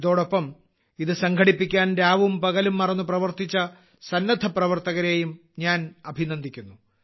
ഇതോടൊപ്പം ഇത് സംഘടിപ്പിക്കാൻ രാവും പകലും മറന്നു പ്രവർത്തിച്ച സന്നദ്ധപ്രവർത്തകരെയും ഞാൻ അഭിനന്ദിക്കുന്നു